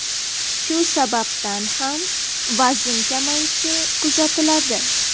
Shu sababdan ham vazn kamayishi kuzatiladi.